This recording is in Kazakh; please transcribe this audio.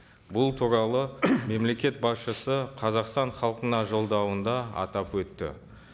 бұл туралы мемлекет басшысы қазақстан халқына жолдауында атап өтті